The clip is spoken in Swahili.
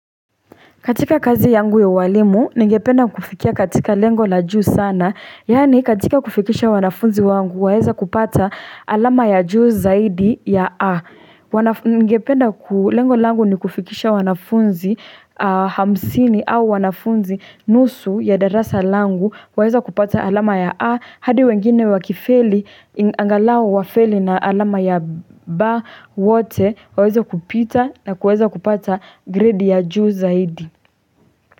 Katika kazi yangu ya walimu, ninge penda kufikia katika lengo la juu sana. Yani katika kufikisha wanafunzi wangu, waeza kupata alama ya juu zaidi ya A. Ninge penda lengo langu ni kufikisha wanafunzi hamsini au wanafunzi nusu ya darasa langu, waeza kupata alama ya A. Hadi wengine wakifeli, angalau wafeli na alama ya B wote, waeza kupita na kuweza kupata grade ya juu zaidi.